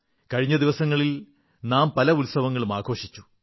കഴിഞ്ഞ ദിവസങ്ങളിൽ നാം പല ഉത്സവങ്ങളും ആഘോഷിച്ചു